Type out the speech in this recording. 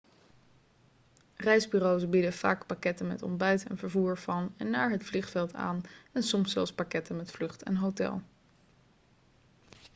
reisbureaus bieden vaak pakketten met ontbijt en vervoer van en naar het vliegveld aan en soms zelfs pakketten met vlucht en hotel